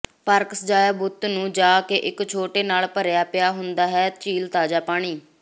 park ਸਜਾਇਆ ਬੁੱਤ ਨੂੰ ਜਾਕੇ ਇੱਕ ਛੋਟੇ ਨਾਲ ਭਰਿਆ ਪਿਆ ਹੁੰਦਾ ਹੈ ਝੀਲ ਤਾਜ਼ਾ ਪਾਣੀ